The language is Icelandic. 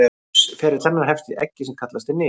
Lífsferill hennar hefst í eggi sem kallað er nit.